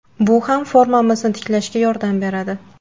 Bu ham formamizni tiklashga yordam beradi.